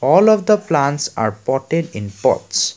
all of the plants are potted in pots.